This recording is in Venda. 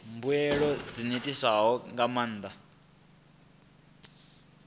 mbuelo dzi ṋetshedzwa nga maanḓa